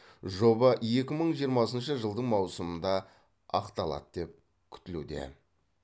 жоба екі мың жиырмасыншы жылдың маусымында ақталады деп күтілуде